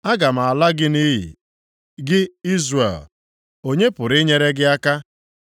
“Aga m ala gị nʼiyi, gị Izrel, onye pụrụ inyere gị aka?